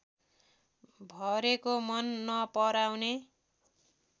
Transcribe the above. भरेको मन नपराउने